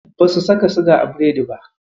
Basu saka siga a biredin ba.